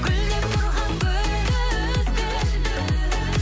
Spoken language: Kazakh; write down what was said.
гүлдеп тұрған гүлді үзбе